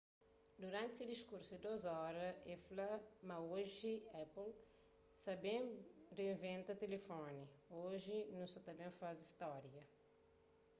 duranti se diskursu di 2 óra el fla ma oji apple sa ta ben rinventa tilifoni oji nu sa ta ben faze stória